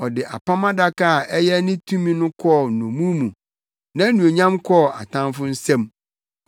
Ɔde Apam Adaka a ɛyɛ ne tumi no kɔɔ nnommum mu, nʼanuonyam kɔɔ atamfo nsam.